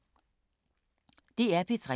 DR P3